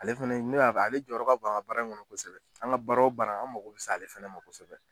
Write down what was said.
Ale fɛnɛ ale jɔyɔrɔ ka bon an ŋa baara in kɔnɔ kɔsɛbɛ, an ŋa baara o baara an mago bi se ale fɛnɛ ma kosɛbɛ